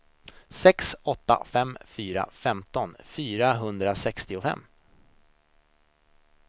sex åtta fem fyra femton fyrahundrasextiofem